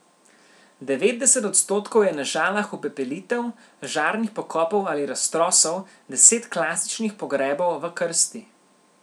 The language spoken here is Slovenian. Devetdeset odstotkov je na Žalah upepelitev, žarnih pokopov ali raztrosov, deset klasičnih pogrebov v krsti.